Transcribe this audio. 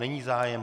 Není zájem.